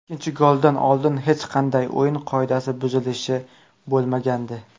Ikkinchi goldan oldin hech qanday o‘yin qoidasi buzilishi bo‘lmagandi.